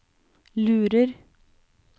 lurer